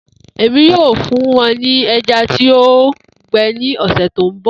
Emi yoo fun wọn ni ẹja ti o gbẹ ni ọsẹ to nbọ